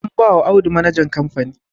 Anbawa Audu manajan kamfani